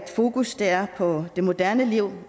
fokus er på det moderne liv